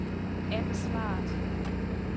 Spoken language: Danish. ansvaret